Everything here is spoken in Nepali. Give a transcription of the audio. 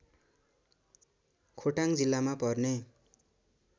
खोटाङ जिल्लामा पर्ने